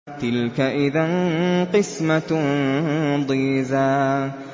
تِلْكَ إِذًا قِسْمَةٌ ضِيزَىٰ